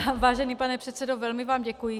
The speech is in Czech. Vážený pane předsedo, velmi vám děkuji.